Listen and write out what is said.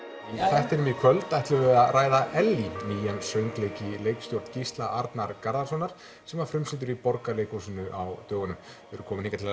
þættinum í kvöld ætlum við að ræða Ellý nýjan söngleik í leikstjórn Gísla Arnar Garðarssonar sem var frumsýndur í Borgarleikhúsinu á dögunum þau eru komin hingað til